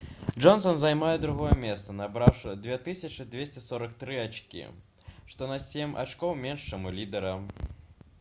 джонсан займае другое месца набраўшы 2243 ачкі што на сем ачкоў менш чым у лідэра